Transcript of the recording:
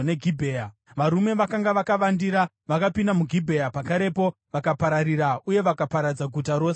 Varume vakanga vakavandira vakapinda muGibhea pakarepo, vakapararira uye vakaparadza guta rose nomunondo.